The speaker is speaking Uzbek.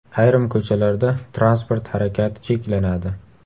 Ayrim ko‘chalarda transport harakati cheklanadi.